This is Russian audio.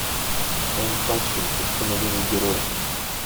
ванпанчмен путь становления героя